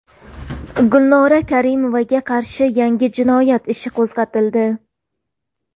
Gulnora Karimovaga qarshi yangi jinoyat ishi qo‘zg‘atildi.